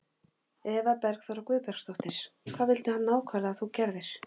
Eva Bergþóra Guðbergsdóttir: Hvað vildi hann nákvæmlega að þú gerðir?